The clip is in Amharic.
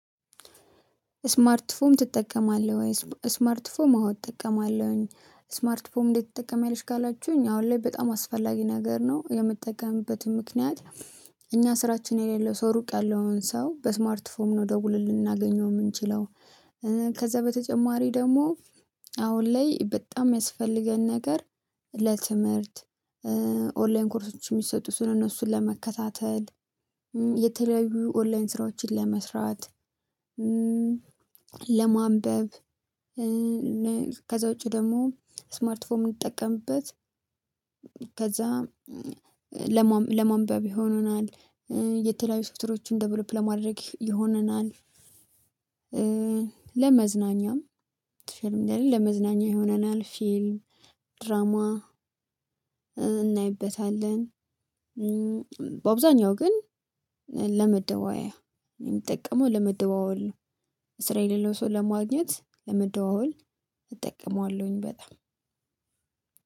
ስማርት ፎን ትጠቀማለህ ወይ? ስማርት ፎም አዎ እጠቀማለሁኝ ስማርት ፎም እንዴት ትጠቀሚያለሽ ካላችሁኝ አሁን ላይ በጣም አስፈላጊ ነገር ነው። የምጠቀምበትም ምክንያት እኛ ስራችን የሌለው ሰው ሩቅ ያለውን ሰው በስማርት ፎም ነው ደውለን ልናገኘው የምንችለው። ከዛ በተጨማሪ ደግሞ አሁን ላይ በጣም የሚያስፈልገን ነገር ለትምህርት ኦንላይን ኮርሶች የሚሰጡ ስለእነሱን ለመከታተል የተለያዩ ኦንላይን ስራዎችን ለመስራት። ለማንበብ ከዛ ውጪ ደግሞ ስማርት ፎን እምንጠቀምበት። ከዛ ለማንበብ ይሆነናል። የተለያዩ ሶፍጥሮችን ደብሎፕ ለማድረግ ይሆነናል። ለመዝናኛም ለመዝናኛ ይሆነናል ፊልም ድራማ እናይበታለን። በአብዛኛው ግን ለመደዋያ የሚጠቀመው ለመደዋወል ነው። ለሰው ለማግኘት ለመደዋወል እጠቀማለሁኝ በጣም